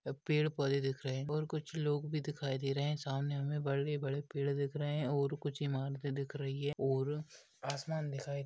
पेड़ पौधे दिख रहे और कुछ लोग भी दिखाई दे रहे है सामने हमे बड़े बड़े पेड़ दिख रहे है और कुछ इमारते दिख रही है और आसमान दिखाई--